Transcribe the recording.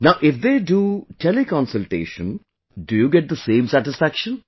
Now if they do Tele Consultation, do you get the same satisfaction